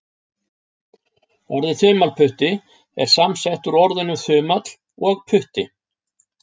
Orðið þumalputti er samsett úr orðunum þumall og putti.